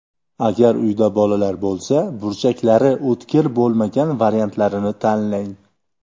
Agar uyda bolalar bo‘lsa, burchaklari o‘tkir bo‘lmagan variantlarini tanlang.